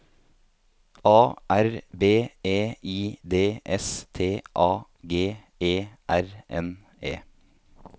A R B E I D S T A G E R N E